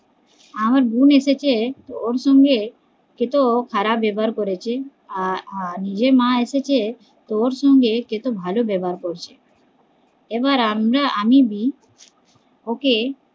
আমার বোন এসেছে ওর সঙ্গে কেত খারাপ ব্যবহার করেছে আর নিজের মা এসেছে কত ভালো ব্যাবহার করছে এবার আমরা আমি দি ওকে